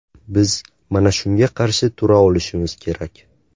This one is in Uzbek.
Biz mana shunga qarshi tura olishimiz kerak.